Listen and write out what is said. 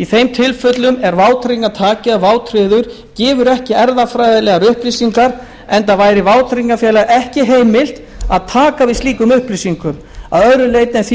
í þeim tilfellum er vátryggingartaki eða vátryggður gefur ekki erfðafræðilegar upplýsingar enda væri vátryggingafélagi ekki heimilt að taka við slíkum upplýsingum að öðru leyti en því